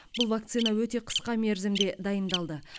бұл вакцина өте қысқа мерзімде дайындалды